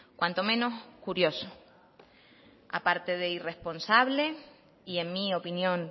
cuanto menos curioso aparte de irresponsable y en mi opinión